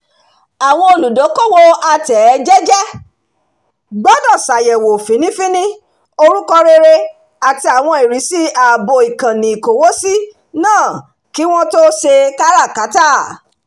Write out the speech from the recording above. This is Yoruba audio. àwọn olùdókòwò atẹ̀ẹ́jẹ́jẹ́ gbọdọ̀ ṣàyẹ̀wò fínnífínní orúkọ rere àti àwọn ìrísí ààbò ìkànnì-ìkówósí náà kí wọ́n tó ṣe káràkátà